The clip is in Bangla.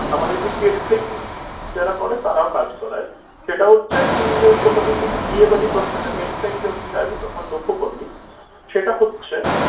আমাদের যে cattering যারা করে তারাও কাজ করায় সেটা হচ্ছে তুই কোনোদিন যদি বিয়ে বাড়ির buffet এ next time যখন যাবি তখন লক্ষ্য করবি সেটা হচ্ছে